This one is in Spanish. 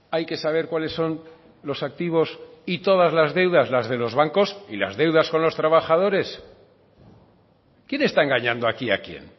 hay que saber cuáles son los activos y todas las deudas las de los bancos y las deudas con los trabajadores quién está engañando aquí a quién